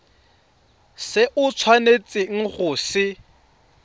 se o tshwanetseng go se